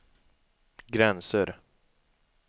gränser